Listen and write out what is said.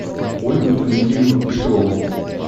ольгу дмитриевну петрову